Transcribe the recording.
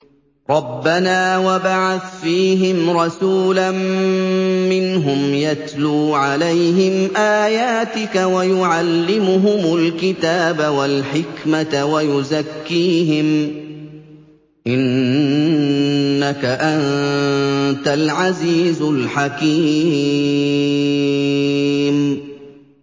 رَبَّنَا وَابْعَثْ فِيهِمْ رَسُولًا مِّنْهُمْ يَتْلُو عَلَيْهِمْ آيَاتِكَ وَيُعَلِّمُهُمُ الْكِتَابَ وَالْحِكْمَةَ وَيُزَكِّيهِمْ ۚ إِنَّكَ أَنتَ الْعَزِيزُ الْحَكِيمُ